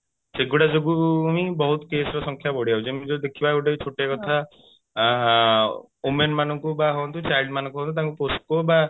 ସେଇଗୁଡା ଯୋଗୁ ବହୁତ case ର ସଂଖ୍ୟା ବଢି ଯାଉଛି ଏମିତି ଯଦି ଦେଖିବା ଗୋତ୍ବେ ଛୋଟିଆ କଥା women ମାନଙ୍କୁ ହୁଅନ୍ତୁ ବା child ମାନଙ୍କୁ ହୁଅନ୍ତୁ ତାଙ୍କୁ posco